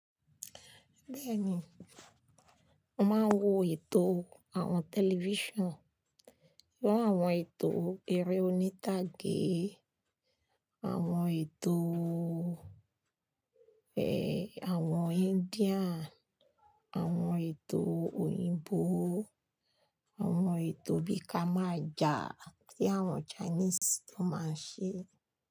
Bẹ́ẹ̀ni, mo máa ń wo ètò àwọn tẹlifíṣàn. Wo àwọn ètò eré oníta gé, àwọn ètò, ẹ, àwọn India, àwọn ètò òyìnbó, àwọn ètò bí i kama aja tí àwọn Chinese tó máa ń ṣe.